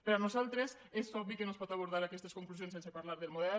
per nosaltres és obvi que no es poden abordar aquestes conclusions sense parlar del model